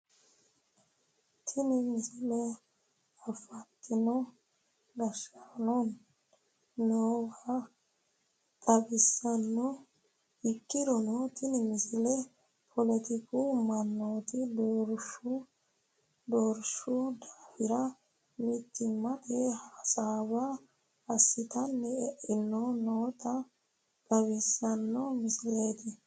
Tini misile afantino gashshaanonna annuwa xawissanno ikkirono tini misile poletiku mannooti doorshu daafira mittimmate hasaawa assitara e'anni noota xawissanno misileeti